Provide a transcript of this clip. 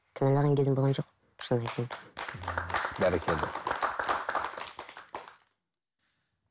кінәлаған кезім болған жоқ шынын айтайын ыыы бәрекелді